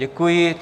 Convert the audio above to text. Děkuji.